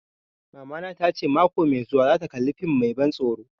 Mamana ta ce mako mai zuwa za ta kalla fim mai ban tsoro